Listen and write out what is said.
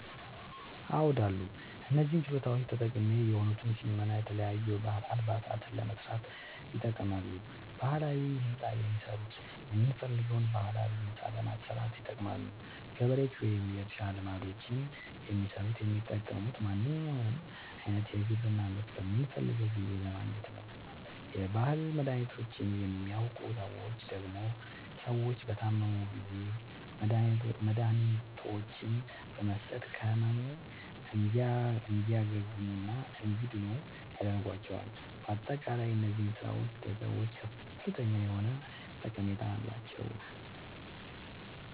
አዎድ አሉ። እነዚህ ችሎታዎች ጠቃሚ የሆኑት ሸመና የተለያዩ የባህል አልባሳትን ለመስራት ይጠቅማሉ። ባህላዊ ህንፃ የሚሠሩት የምንፈልገዉን ባህላዊ ህንፃ ለማሠራት ይጠቅማሉ። ገበሬዎች ወይም የእርሻ ልማዶችን የሚሠሩት የሚጠቅሙት ማንኛዉንም አይነት የግብርና ምርት በምንፈልገዉ ጊዜ ለማግኘት ነዉ። የባህል መድሀኒቶችን የሚያዉቁ ሠዎች ደግሞ ሰዎች በታመሙ ጊዜ መድሀኒቶችን በመስጠት ከህመሙ እንዲያግሙና እንዲድኑ ያደርጓቸዋል። በአጠቃላይ እነዚህ ስራዎች ለሰዎች ከፍተኛ የሆነ ጠቀሜታ አላቸዉ።